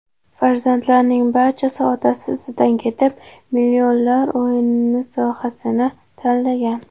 Farzandlarning barchasi otasi izidan ketib, millionlar o‘yini sohasini tanlagan.